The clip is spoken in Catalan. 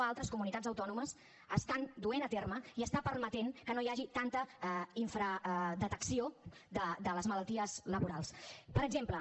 a altres comunitats autònomes estan duent a terme i estan permetent que no hi hagi tanta infradetecció de les malalties laborals per exemple